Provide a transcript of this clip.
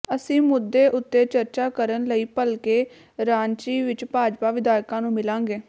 ਅਸੀਂ ਮੁੱਦੇ ਉਤੇ ਚਰਚਾ ਕਰਨ ਲਈ ਭਲਕੇ ਰਾਂਚੀ ਵਿਚ ਭਾਜਪਾ ਵਿਧਾਇਕਾਂ ਨੂੰ ਮਿਲਾਂਗੇ